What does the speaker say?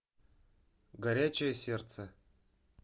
горячее сердце